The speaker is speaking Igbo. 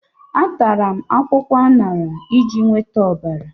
Atara m akwụkwọ aṅara iji nweta ọbara.